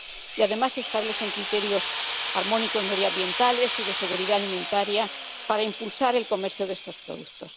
Y, además, se establecen criterios armónicos medioambientales y de seguridad alimentaria para impulsar el comercio de estos productos.